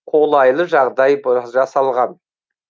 қолайлы жағдай жасалған